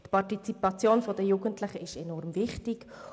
Die Partizipation der Jugendlichen ist enorm wichtig.